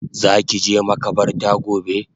Zaki je makabarta gobe?